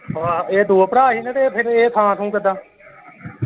ਆਹੋ ਇਹ ਦੋ ਭਰਾ ਸੀ ਨਾ ਤੇ ਫੇਰ ਇਹ ਥਾਂ ਥੁ ਕਿਦਾਂ।